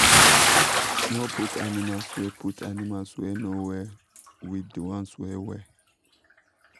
no put animals wey put animals wey no well with de ones wey well